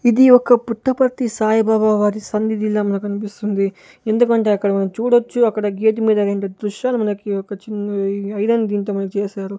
ఇది ఒక పుట్టపర్తి సాయిబాబా వారి సన్నిధిలా మనకు అనిపిస్తూ ఉంది ఎందుకంటే అక్కడ మనం చూడొచ్చు అక్కడ గీత మీద రెండు దృశ్యాలు మనకి ఒక చిన్న ఐరన్ దీంతో చేశారు--